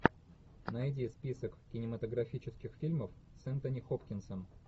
найди список кинематографических фильмов с энтони хопкинсом